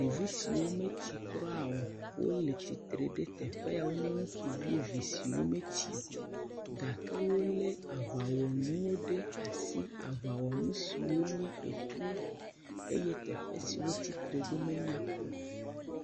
ɖevi siawo metsi kra o wóle tsitre ɖe teƒe ya wó nye ŋutsuvi vi siwó metsio gake wóle aʋawɔnuwo ɖe asi aʋawɔnu siwó nye etuwo eye teƒe siwó tsitre ɖó menyakpɔ o